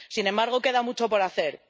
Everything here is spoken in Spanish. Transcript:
Sin embargo, queda mucho por hacer.